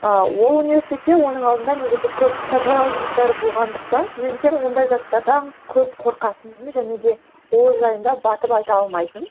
ыыы ол университтетте оның алдында негізі көп тазалау жұмыстары болғандықтан студенттер ондай заттардан көп қорқатын және де ол жайында батып айта алмайтын